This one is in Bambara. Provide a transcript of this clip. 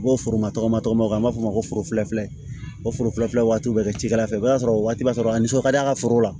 U b'o foroma tɔgɔ an b'a fɔ ma ko forofilafilɛ waati u bɛ kɛ cilafɛ o b'a sɔrɔ o waati b'a sɔrɔ a nisɔn ka di a ka foro la